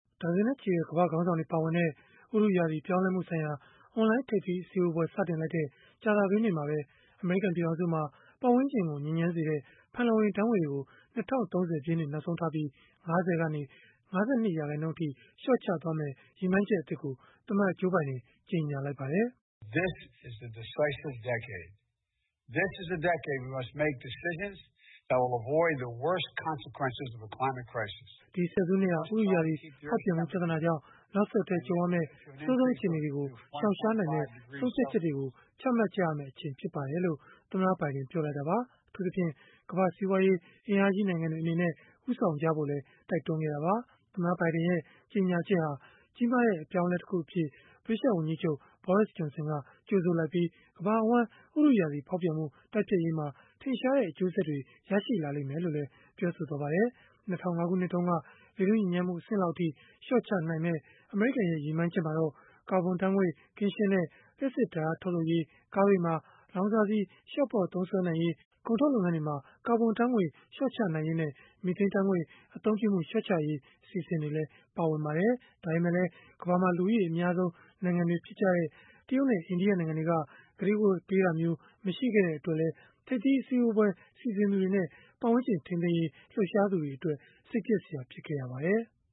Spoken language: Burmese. ဒါဇင်နဲ့ချီတဲ့ ကမ္ဘာ့ခေါင်းဆောင်တွေ ပါဝင်တဲ့ ဥတုရာသီ ပြောင်းလဲမှုဆိုင်ရာ အွန်လိုင်းထိပ်သီးအစည်းအဝေး စတင်လိုက်တဲ့ ကြာသပတေးနေ့မှာပဲ အမေရိကန် ပြည်ထောင်စုမှာ ပတ်ဝန်းကျင်ကို ညစ်ညမ်းစေတဲ့ ဖန်လုံအိမ်ဓာတ်ငွေ့တွေကို ၂၀၃၀ ပြည့်နှစ် နောက်ဆုံးထားပြီး ၅၀ ကနေ ၅၂ ရာခိုင်နှုန်းအထိ လျှော့ချသွားမယ့် ရည်မှန်းချက် အသစ်ကို သမ္မတ Joe Biden ကြေညာလိုက်ပါတယ်။ “ဒီဆယ်စုနှစ်ဟာ ဥတုရာသီ ဖောက်ပြန်မှု ပြဿနာကြောင့် နောက်ဆက်တွဲ ကြုံရမယ့် အဆိုးဆုံး အခြေအနေတွေကို ရှောင်ရှားနိုင်မယ့် ဆုံးဖြတ်ချက်တွေကို ချမှတ်ကြရမယ့် အချိန်ဖြစ်ပါတယ်။” လို့ သမ္မတဘိုင်ဒင် ပြောလိုက်တာပါ။ အထူးသဖြင့် ကမ္ဘာ့စီးပွားရေး အင်အားကြီး နိုင်ငံတွေ အနေနဲ့ ဦးဆောင် ကြဖို့လည်း တိုက်တွန်းခဲ့တာပါ။ သမ္မတဘိုင်ဒင်ရဲ့ ကြေညာချက်ဟာ ကြီးမားတဲ့ အပြောင်းအလဲတခုအဖြစ် ဗြိတိသျှဝန်ကြီးချုပ် Boris Johnson က ကြိုဆိုလိုက်ပြီး၊ ကမ္ဘာအဝန်း ဥတုရာသီဖောက်ပြန်မှု တိုက်ဖျက်ရေးမှာ ထင်ရှားတဲ့ အကျိုးဆက်တွေ ရှိလာလိမ့်မယ်လို့လည်း ပြောခဲ့ပါတယ်။ ၂၀၀၅ ခုနှစ်တုန်းက လေထုညစ်ညမ်းမှု အဆင့်လောက်အထိ လျှော့ချနိုင်မယ့် အမေရိကန်ရဲ့ ရည်မှန်းချက်မှာတော့ ကာဗွန်ဓာတ်ငွေ့ ကင်းရှင်းတဲ့ လျှပ်စစ်ဓာတ်အား ထုတ်လုပ်ရေး၊ ကားတွေမှာ လောင်စာဆီ လျှော့ပေါ့သုံးစွဲနိုင်ရေး၊ ကုန်ထုတ်လုပ်ငန်းတွေမှာ ကာဗွန်ဓာတ်ငွေ့ လျှော့ချနိုင်ရေးနဲ့ မီသိန်းဓာတ်ငွေ့ အသုံးပြုမှု လျှော့ချရေး အစီအစဉ်တွေလည်း ပါဝင်ပါတယ်။ ဒါပေမဲ့လည်း ကမ္ဘာမှာ လူဦးရေ အများဆုံး နိုင်ငံတွေ ဖြစ်ကြတဲ့ တရုတ်နဲ့ အိန္ဒိယနိုင်ငံတွေက ကတိကဝတ်ပေးတာမျိုး မရှိခဲ့တဲ့ အတွက်လည်း ထိပ်သီးအစည်းအဝေး စီစဉ်သူတွေနဲ့ ပတ်ဝန်းကျင် ထိန်းသိမ်းရေး လှုပ်ရှားသူတွေအတွက် စိတ်ပျက်စရာ ဖြစ်ခဲ့ရပါတယ်။